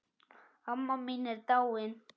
Amma mín er dáin.